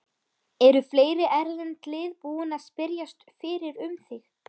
Eru fleiri erlend lið búin að spyrjast fyrir um þig?